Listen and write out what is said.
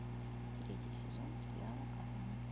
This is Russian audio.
третий сезон сериала корона